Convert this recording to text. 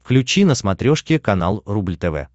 включи на смотрешке канал рубль тв